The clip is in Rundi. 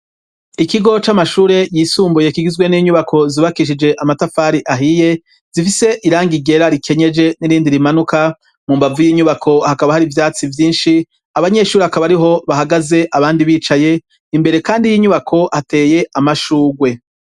Ikigo c'amashure yisumbuye kigizwe n'inyubako zubakishije amatafari ahiye, zifise irangi ryera rikenyeje n'irindi rimanuka; mu mbavu y'inyubako hakaba hari ivyatsi vyinshi. Abanyeshuri bakaba ariho bahagaze, abandi bicaye; imbere kandi y'inyubako hateye amashurwe.